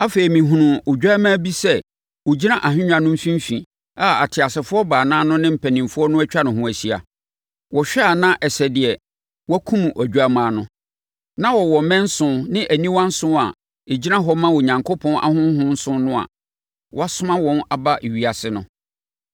Afei, mehunuu Odwammaa bi sɛ ɔgyina ahennwa no mfimfini a ateasefoɔ baanan no ne mpanimfoɔ no atwa ne ho ahyia. Wɔhwɛ a na ɛsɛ deɛ wɔakum Odwammaa no. Na ɔwɔ mmɛn nson ne aniwa nson a ɛgyina hɔ ma Onyankopɔn ahonhom nson no a wɔasoma wɔn aba ewiase no.